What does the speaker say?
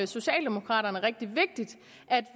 socialdemokraterne rigtig vigtigt at